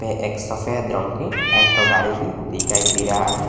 ये एक सफेद रंग की एल्टो गाड़ी भी दिखाई दे रहा है।